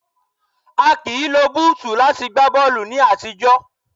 A kìí lo búùtù láti gba bọ́ọ̀lù ní àtijọ́.